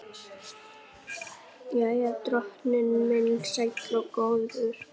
Jæja, drottinn minn sæll og góður.